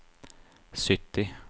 sytti